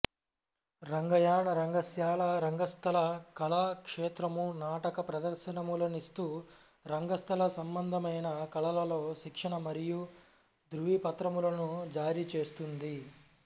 రంగయాన రంగశాల రంగస్థల కళా క్షేత్రము నాటక ప్రదర్శనములనిస్తూ రంగస్థల సంభందమైన కళలలో శిక్షణ మరియూ ధ్రువపత్రములను జారీచేస్తుంది